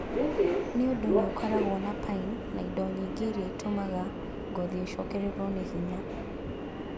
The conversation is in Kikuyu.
Nĩ ũndũ nĩ ũkoragwo na pine na indo ingĩ iria itũmaga ngothi ĩcokererũo nĩ hinya.